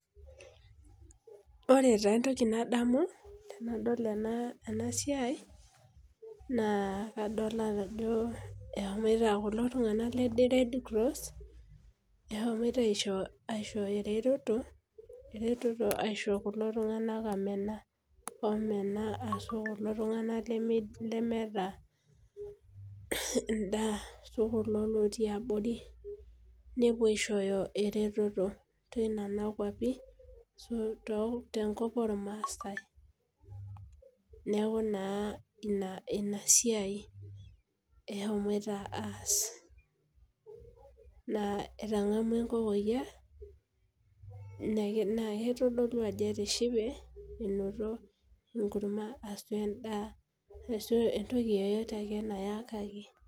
Ore taa entoki nadamu tenadol ena siai. naa kadamu ajo eshomoito kulo tunganak aisho eretoto. aisho kulo tunganak oo menaa ashu kulo tunganak lemeeta edaa.o kule lotii abori. nepuo aishooyo eretoto. tenena kuapi, ashu te nkop noolmaasae. neeku naa Ina siai. eshomoita aas. naa etangamua enkokoiyia. naa kitodolu ajo etishipe. enoto enkurma shu edaa ashu entoki ake nayakaki.